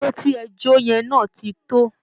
Ijó tí ẹ jó yẹn náà ti tó!